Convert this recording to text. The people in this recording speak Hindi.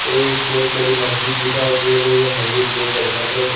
एक बहुत बड़ी मस्जिद दिखाई दे रही है मस्जिद के ऊपर सफेद--